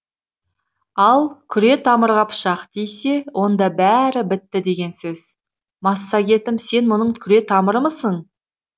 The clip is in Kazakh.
ал күре тамырға пышақ тисе онда бәрі бітті деген сөз массагетім сен менің күре тамырымсың